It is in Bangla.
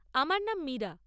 আমার নাম মীরা।